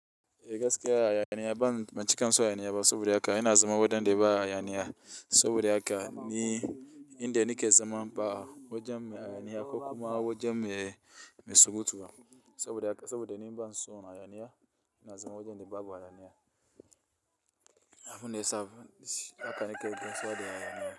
E gaskiya hayaniya ban ban cika son hayaniya ba saboda haka ina zama wajen da ba hayaniya saboda haka ni inda nake zama ba wajen mai hayaniya ko kuma wajen mai mai surutu ba. Saboda haka saboda ni ban son hayaniya ina zama wajen da babu hayaniya. Abun da yasa haka.